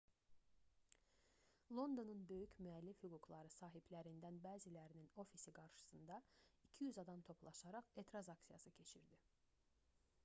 londonun böyük müəllif hüquqları sahiblərindən bəzilərinin ofisi qarşısında 200 adam toplaşaraq etiraz aksiyası keçirdi